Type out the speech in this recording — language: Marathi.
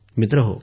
मित्रहो